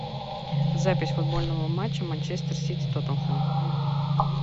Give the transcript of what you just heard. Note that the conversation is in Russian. запись футбольного матча манчестер сити тоттенхэм